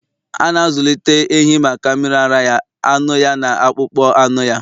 A na-azụlite ehi maka mmiri ara ya, anụ ya, na akpụkpọ anụ ya.